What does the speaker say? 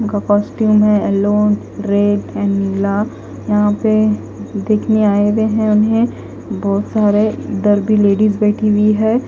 उनका कॉस्ट्यूम है yellow red and नीला यहां पे देखने आए हुए हैं उन्हें बहोत सारे इधर भी लेडिज बैठी हुई है।